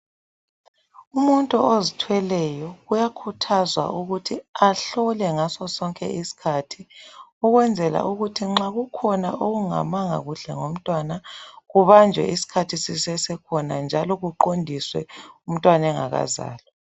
Umuntu ozithweleyo uyakhuthazwa ukuthi ahlole ngaso sonke isikhathi ukwenzela ukuthi nxa kukhona okungalunganga kuhle ngomntwana kubanjwe isikhathi sisasekhona njalo kuqondiswe umntwana engaka zalwa.